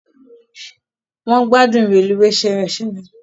Won gbádùn reluwee ṣereṣere.